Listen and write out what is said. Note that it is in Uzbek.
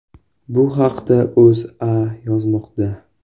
Bu haqda O‘zA yozmoqda .